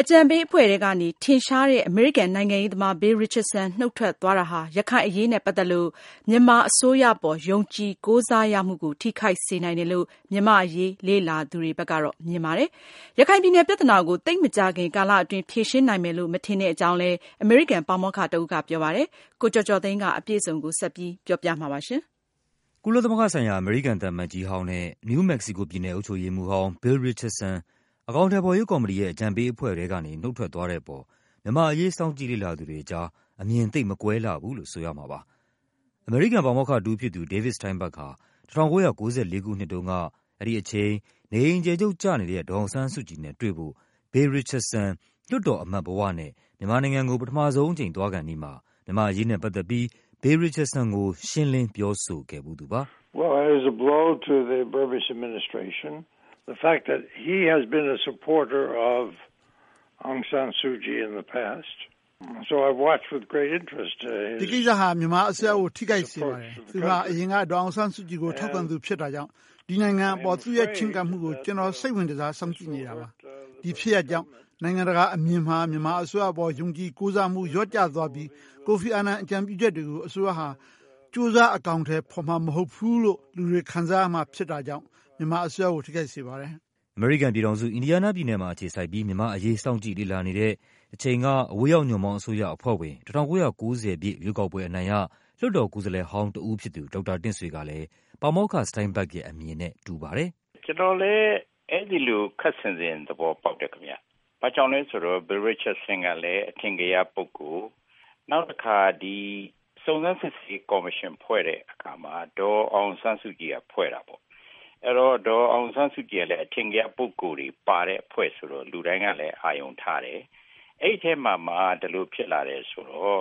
အကြံပေးအဖွဲ့ထဲကနေ ထင်ရှားတဲ့ အမေရိကန်နိုင်ငံရေးသမား Bill Richardson နုတ်ထွက်သွားတာဟာ ရခိုင်အရေးနဲ့ပတ်သက်ပြီး မြန်မာအစိုးအပေါ် ယုံကြည် ကိုးစားရမှုကို ထိခိုက်စေနိုင်တယ်လို့ မြန်မာ့အရေး လေ့လာသူတွေက မြင်ပါတယ်။ ရခိုင်ပြည်နယ်ပြဿနာကို သိပ်မကြာခင်ကာလအတွင်း ဖြေရှင်းနိုင်မယ်လို့ မထင်တဲ့အကြောင်း အမေရိကန်ပါမောက္ခတဦးက ပြောပါတယ်။ အပြည့်အစုံကို ကိုကျော်ကျော်သိန်းက ပြောပြပါမယ်။ ကုလသမဂ္ဂဆိုင်ရာ အမေရိကန်သံအမတ်ကြီးဟောင်းနဲ့ နယူးမက္ကဆီကိုပြည်နယ် အုပ်ချုပ်ရေးမှူးဟောင်း Bill Richardson အကောင်အထည်ဖော်ရေးကော်မတီရဲ့ အကြံပေးအဖွဲ့ထဲကနေ နုတ်ထွက်သွားတဲ့အပေါ် မြန်မာ့အရေး စောင့်ကြည့်လေ့လာသူ တွေကြား အမြင် သိပ်မကွဲလှဘူးလို့ဆိုရမှာပါ။ အမေရိကန်ပါမောက္ခတဦးဖြစ်သူ David Steinberg ဟာ ၁၉၉၄ ခုနှစ်တုန်းက အဲဒီအချိန် နေအိမ်အကျယ်ချုပ်ကျနေတဲ့ ဒေါ်အောင်ဆန်းစုကြည်နဲ့တွေ့ဖို့ Bill Richardson လွှတ်တော်အမတ်ဘဝနဲ့ မြန်မာနိုင်ငံကို ပထမဆုံးအကြိမ်သွားခါနီးမှာ မြန်မာ့ အရေးနဲ့ပတ်သက်ပြီး Bill Richardson ကို ရှင်းလင်းပြောဆိုခဲ့ဖူးသူပါ။ “ဒီကိစ္စဟာ မြန်မာအစိုးရကို ထိခိုက်စေပါတယ်။ သူဟာ အရင်က ဒေါ်အောင်ဆန်းစုကြည်ကို ထောက်ခံသူဖြစ် တာကြောင့် ဒီနိုင်ငံအပေါ် သူ့ရဲ့ချဉ်းကပ်မှုကို ကျနော် စိတ်ဝင်တစား စောင့်ကြည့်နေတာပါ။ ဒီဖြစ်ရပ်ကြောင့် နိုင်ငံတကာအမြင်မှာ မြန်မာအစိုးရအပေါ် ယုံကြည်ကိုးစားရမှု လျော့ကျသွားပြီး ကိုဖီ အာနန် အကြံပြုချက်တွေကို အစိုးရဟာ ကြိုးစား အကောင် အထည်ဖော်မှာမဟုတ်ဘူးလို့ လူတွေ ခံစားရမှာဖြစ်တာကြောင့် မြန်မာအစိုးရကို ထိခိုက်စေပါတယ်။” အမေရိကန်ပြည်ထောင်စု၊ အင်ဒီးယားနားပြည်နယ်မှာ အခြေစိုက်ပြီး မြန်မာ့အရေး စောင့်ကြည့်လေ့လာနေတဲ့ တချိန်က အဝေးရောက်ညွန့်ပေါင်းအစိုးရအဖွဲ့ဝင် ၁၉၉၀ ပြည့်ရွေးကောက်ပွဲအနိုင်ရ လွှတ်တော်ကိုယ်စားလှယ်ဟောင်းတဦးဖြစ်သူ ဒေါက်တာ တင့်ဆွေကလည်း ပါမောက္ခ Steingberg ရဲ့အမြင်နဲ့ တူပါတယ်။ " ကျနော်လည်း အဲ့ဒီ့လို ခပ်ဆင်ဆင် သဘောပေါက်တယ်ခင်ဗျ။ ဘာကြောင့်လဲဆိုတော့ Bill Richardson ကလည်း အထင်ကရပုဂ္ဂိုလ် နောက်တခါ ဒီစုံစမ်းစစ်ရေးကော်မရှင် ဖွဲ့တဲ့အခါ ဒေါ်အောင်ဆန်းစုကြည်က ဖွဲ့တာပေါ့ အဲ့ဒီ့တော့ ဒေါ်အောင်ဆန်းစုကြည်က အထင်ကရပုဂ္ဂိုလ်တွေ ပါတဲ့အဖွဲ့ဆိုတော့ လူတိုင်းကလည်း အာရုံထားတယ် အဲ့ဒီ့အထဲမှာမှ ဒီလိုဖြစ်လာတယ်ဆိုတော့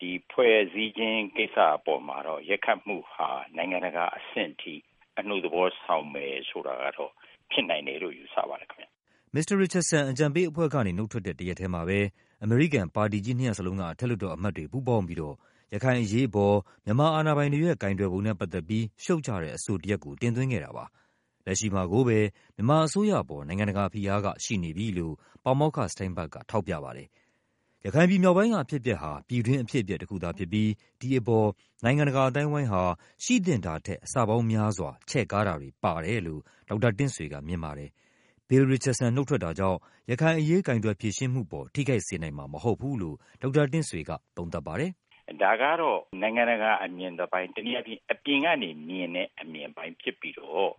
ဒီဖွဲ့စည်းခြင်း ကိစ္စအပေါ်ရိုက်ခတ်မှုဟာ နိုင်ငံတကာအဆင့်အထိ အနှုတ်သဘောဆောင်မယ်ဆိုတာကတော့ ဖြစ်နိုင်မယ်လို့ယူဆပါတယ်ခင်ဗျ။" မစ္စတာ Richardson အကြံပေးအဖွဲ့ကနေ နုတ်ထွက်တဲ့ တရက်ထဲမှာပဲ အမေရိကန် ပါတီကြီးနှစ်ရပ်စလုံးက အထက်လွှတ်တော် အမတ်တွေ ပူးပေါင်းပြီးတော့ ရခိုင်အရေး အပေါ် မြန်မာအာဏာပိုင်တွေရဲ့ ကိုင်တွယ်ပုံနဲ့ ပတ်သက်ပြီး ရှုတ်ချတဲ့အဆိုတရပ်ကို တင်သွင်းခဲ့တာပါ။ လက်ရှိမှာကိုပဲ မြန်မာအစိုးရအပေါ် နိုင်ငံတကာဖိအားက ရှိနေပြီလို့ ပါမောက္ခ Steinberg က ထောက်ပြပါတယ်။ ရခိုင်ပြည်မြောက်ပိုင်းက အဖြစ်အပျက်ဟာ ပြည်တွင်းအဖြစ်အပျက်တခုသာဖြစ်ပြီး ဒီအပေါ် နိုင်ငံတကာ အသိုင်းအဝိုင်းဟာ ရှိသင့် တာထက် အဆပေါင်းများစွာ ချဲ့ကား တာတွေပါတယ်လို့ ဒေါက်တာတင့်ဆွေကမြင်ပါတယ်။ Bill Richardson နုတ်ထွက်တာ ကြောင့် ရခိုင်အရေး ကိုင်တွယ်ဖြေရှင်းမှုပေါ် ထိခိုက်စေနိုင်မှာမဟုတ်ဘူးလို့ ဒေါက်တာတင့်ဆွေက သုံးသပ်ပါတယ်။ " ဒါကတော့ နိုင်ငံတကာအမြင်တပိုင်းပေါ့ တနည်းအားဖြင့် အပြင်ကနေ မြင်တဲ့အမြင် အပိုင်းဖြစ်ပြီးတော့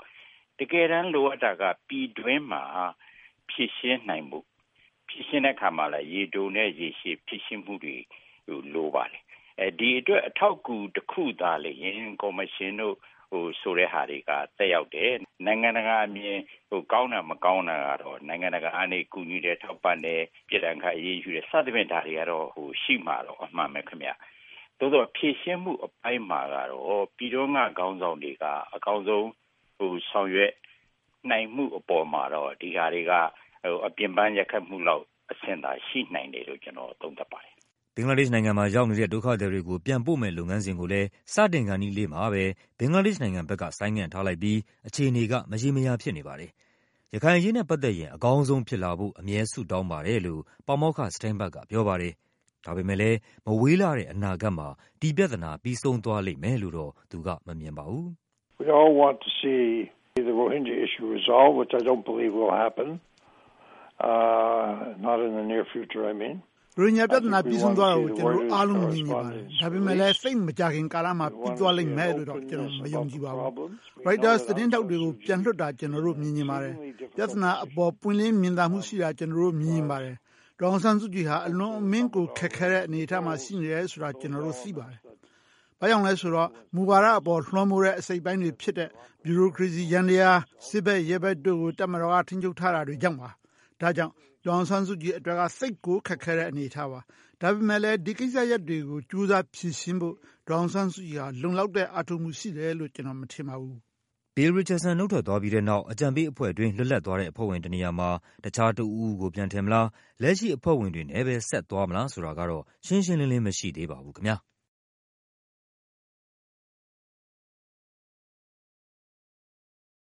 တကယ်တမ်းလိုအပ်တာက ပြည်တွင်းမှာ ဖြေရှင်းနိုင်ဖို့။ ဖြေရှင်းတဲ့နေရာမှာလည်း ရေတိုနဲ့ ရေရှည်ဖြေရှင်းမှုတွေ လိုပါတယ် ဒီအတွက် အထောက်အကူ တခုအနေနဲ့သာလျှင် ကော်မရှင်ဆိုတဲ့ဟာတွေက သက်ရောက်တယ်။ နိုင်ငံတကာအမြင်ကောင်းတာ မကောင်းတာကတော့ နိုင်ငံတကာကူညီတယ် ထောက်ပံ့တယ် ပြစ်ဒဏ်ခတ်အရေးယူတာတွေ စသဖြင့် ဒါတွေကတော့ ရှိမှာကတော့ အမှန်ပဲခင်ဗျ။ သို့သော်ဖြေရှင်းမှုအပိုင်းမှာကတော့ ပြည်တွင်းက ခေါင်းဆောင်တွေက အကောင်းဆုံး ဆောင်ရွက်နိုင်မှုအပေါ်မှာတော့ ဒီဟာတွေက အပြင်ပမ်း ရိုက်ခတ်မှုလောက် အဆင့်သာရှိနိုင်တယ်လို့ ကျနော် သုံးသပ်ပါတယ်။" ဘင်္ဂလားဒေ့ရှ်နိုင်ငံမှာရောက်နေတဲ့ ဒုက္ခသည်တွေကို ပြန်ပို့မယ့်လုပ်ငန်းစဉ်ကိုလည်း စတင်ခါနီးလေးမှာပဲ ဘင်္ဂလားဒေ့ရှ်နိုင်ငံ ဘက်က ဆိုင်းငံ့ထားလိုက်ပြီး အခြေအနေက မရေမရာဖြစ်နေပါတယ်။ ရခိုင်အရေးနဲ့ပတ်သက်ရင် အကောင်းဆုံးဖြစ်လာဖို့ အမြဲဆုတောင်းပါတယ်လို့ ပါမောက္ခ Steinberg ကပြောပါတယ်။ ဒါပေမဲ့ လည်း မဝေးလှတဲ့အနာဂတ်မှာ ဒီပြဿနာ ပြီးဆုံးသွားလိမ့်မယ်လို့တော့ သူကမမြင်ပါဘူး။ “ရိုဟင်ဂျာပြဿနာ ပြီးဆုံးသွားတာ ကျနော်တို့အားလုံးမြင်ချင်ပါတယ်။ ဒါပေမဲ့လည်း သိပ်မကြာခင်ကာလမှာ ပြီးသွားလိမ့်မယ်လို့ ကျနော်တော့ မယုံကြည်ပါဘူး။ ရိုက်တာ သတင်းထောက်တွေ ပြန်လွတ်လာတာ ကျနော်တို့မြင်ချင်ပါတယ်။ ပြဿနာအပေါ် ပွင့်လင်းမြင်သာမှုရှိတာ ကျနော်တို့မြင်ချင်ပါ တယ်။ ဒေါ်အောင်ဆန်းစုကြည်ဟာ အလွန်အမင်းကိုခက်ခဲတဲ့ အနေအထားမှာ ရှိနေတယ်ဆိုတာ ကျနော်တို့သိပါတယ်။ ဘာကြောင့်လည်းဆိုတော့ မူဝါဒအပေါ် လွှမ်းမိုးတဲ့ အစိတ်အပိုင်းတွေဖြစ်တဲ့ ဗျူရိုကရေစီယန္တယား၊ စစ်ဘက်နဲ့ ရဲဘက်တို့ကို တပ်မတော်က ထိန်းချုပ် ထားတာကြောင့်ပါ။ ဒါကြောင့် ဒေါ်အောင်ဆန်းစုကြည်အတွက်က သိပ်ကိုခက်ခဲတဲ့ အနေအထားပါ။ ဒါပေမဲ့လည်း ဒီကိစ္စရပ်တွေကို ကြိုးစား ဖြေရှင်းဖို့ ဒေါ်အောင်ဆန်းစုကြည်ဟာ လုံလောက်တဲ့အားထုတ်မှု ရှိထားတယ်လို့ ကျနော်မထင်ပါဘူး။” Bill Richardson နုတ်ထွက်သွားပြီးတဲ့နောက် အကြံပေးအဖွဲ့တွင်း လစ်လပ်သွားတဲ့ အဖွဲ့ဝင်တနေရာမှာ တခြားတဦးဦးကို ပြန်ထည့်မလား၊ လက်ရှိအဖွဲ့ဝင်တွေနဲ့ပဲ ဆက်သွားမလားဆိုတာကတော့ ရှင်းရှင်းလင်းလင်း မရှိသေးပါဘူးခင်ဗျား။